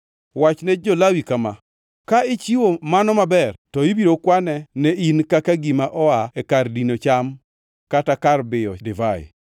“Wachne jo-Lawi kama: ‘Ka ichiwo mano maber, to ibiro kwane ne in kaka gima oa e kar dino cham kata kar biyo divai.